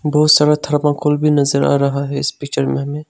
बहुत सारा थर्माकोल भी नजर आ रहा है इस पिक्चर में हमें।